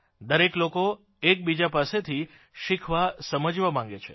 દરેક લોકો એકબીજા પાસેથી શીખવાસમજવા માગે છે